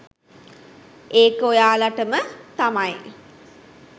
ඒක ඔයාලටම තමයි